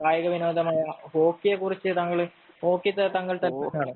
കായിക വിനോദമായ ഹോക്കിയെ കുറിച്ച് താങ്കള് ഹോക്കി